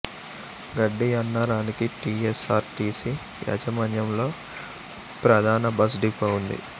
గడ్డి అన్నారానికి T S R T C యాజమాన్యంలో ప్రధాన బస్ డిపో ఉంది